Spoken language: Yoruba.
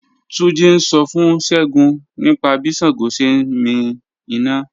Túnjí́ ń ṣọ́ fún Ṣẹ́gúǹ nípa bí Ṣàngó sẹ̀ ǹ mí iná